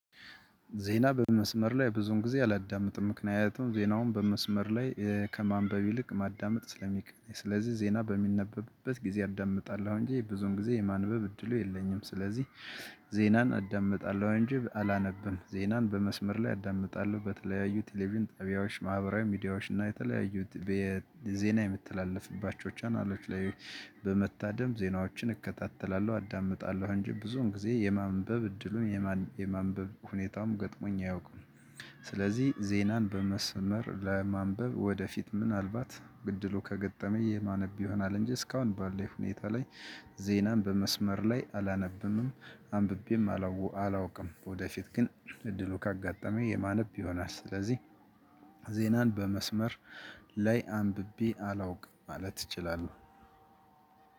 ዜና በመስመር ላይ ብዙን ጊዜ አላዳምጥም ምክንያቱም ዜናውን በመስመር ላይ ከማንበብ ይልቅ ማዳመጥ ስለሚቀል። ስለዚህ ዜና በሚነበብበት ጊዜ አዳምጣለሁ እንጂ ብዙን ጊዜ የማንበብ እድሉ የለኝም። ስለዚህ ዜናን አዳምጣለሁ እንጂ አላነብም። ዜናን በመስመር ላይ አዳምጣለሁ በተለያዩ ቴሌቪዥን ጠቢያዎች ማህበራዊ ሚዲያዎች እና የተለያዩት ዜና የሚተላለፍባቸው ቻናሎች ላይ በመታደም ዜናዎችን እከታተላለሁ አዳምጣለሁ። አንጂ ብዙውን ጊዜ የማንበብ እድሉም የማንበብ ሁኔታውም ገጥሞኝ አያውቅም። ስለዚህ ዜናን በመስመር ለማንበብ ወደፊት ምናልባት እድሉ ከገጠመ የማነብ ይሆናል። እንጂ እስካሁን ባለው ሁኔታ ላይ ዜናን በመስመር ላይ አላነብንምም አንብቤም አላውቅም። ወደፊት ግን እድሉ ካጋጠመኝ የማነብ ይሆናል። ስለዚህ ዜናን በመስመር ላይ አንብቤ አላውቅም ማለት እችላለሁ።